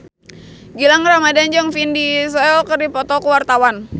Gilang Ramadan jeung Vin Diesel keur dipoto ku wartawan